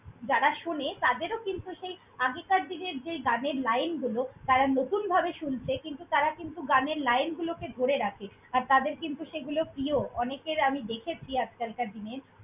যারা শোনে তাদেরও কিন্তু, সেই আগেকার দিনের যেই গানের line গুলো তারা নতুনভাবে শুনছে, কিন্তু তারা কিন্তু গানের line গুলোকে ধরে রাখে আর তাদের কিন্তু সেগুলো প্রিয়। অনেকের আমি দেখেছি আজকালকার দিনে।